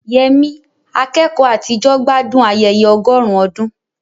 Yemi, akẹ́kọ̀ọ́ àtijọ́, gbádùn ayẹyẹ ọgọ́rùn-ún ọdún.